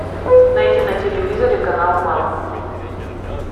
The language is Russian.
найди на телевизоре канал мама